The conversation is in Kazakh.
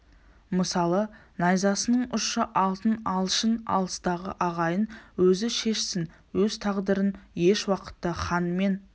мысалы найзасының ұшы алтын алшын алыстағы ағайын өзі шешсін өз тағдырын еш уақытта да хан мен